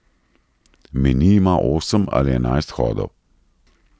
Meni ima osem ali enajst hodov.